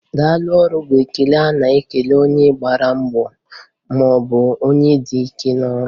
Daalụ ọrụ,' bụ ekele a na-ekele onye gbara mbọ maọbụ onye dị ike ọrụ